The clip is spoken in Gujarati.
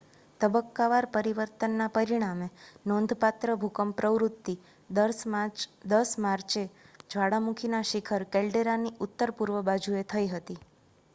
તબક્કાવાર પરિવર્તનના પરિણામે નોંધપાત્ર ભૂકંપ પ્રવૃત્તિ 10 માર્ચે જ્વાળામુખીના શિખર કેલ્ડેરાની ઉત્તર-પૂર્વ બાજુએ થઈ હતી